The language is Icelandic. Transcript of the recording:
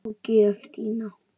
Og gjöf þína.